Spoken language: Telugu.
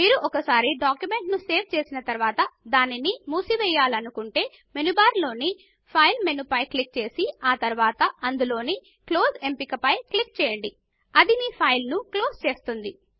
మీరు ఒకసారి డాక్యుమెంట్ ను సేవ్ చేసిన తరువాత దానిని మూసి వేయాలనుకుంటే మెనూ బార్ లోని ఫైల్ మెనూ పై క్లిక్ చేసి ఆ తరువాత అందులోని క్లోజ్ ఎంపికపైన క్లిక్ చేయండి అది మీ ఫైల్ ను క్లోజ్ చేస్తుంది